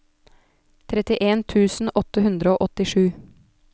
trettien tusen åtte hundre og åttisju